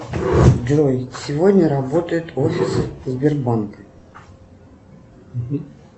джой сегодня работает офис сбербанка